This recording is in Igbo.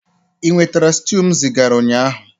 Ị nwetara stew m zigara ụnyaahụ?